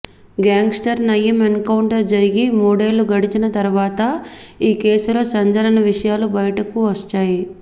gangster Nayeem encounter జరిగి మూడేళ్లు గడిచిన తరువాత ఈ కేసులో సంచలన విషయాలు బయటకు వచ్చాయి